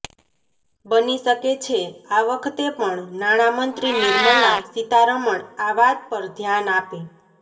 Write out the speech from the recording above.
બની શકે છે આ વખતે પણ નાણા મંત્રી નિર્મલા સીતારમણ આ વાત પર ધ્યાન આપે